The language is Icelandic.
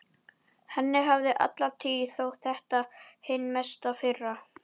Henni hafði alla tíð þótt þetta hin mesta firra.